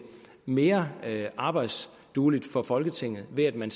mere arbejdsdueligt for folketinget ved at man